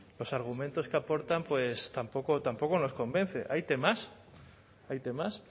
los argumentos que aportan pues tampoco nos convence hay temas hay temas